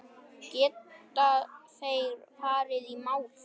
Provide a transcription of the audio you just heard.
Geta þeir farið í mál?